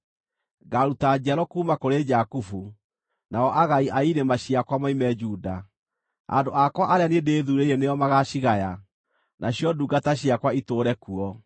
Ngaaruta njiaro kuuma kũrĩ Jakubu, nao agai a irĩma ciakwa moime Juda; andũ akwa arĩa niĩ ndĩthuurĩire nĩo magaacigaya, nacio ndungata ciakwa itũũre kuo.